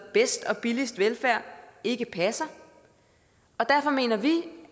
bedst og billigst velfærd ikke passer og derfor mener vi